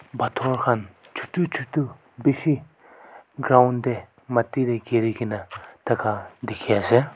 pathor khan chutu chutu bishi ground de mati de giri gina thaka dikhi ase.